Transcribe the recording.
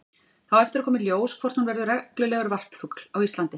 Það á eftir að koma í ljós hvort hún verður reglulegur varpfugl á Íslandi.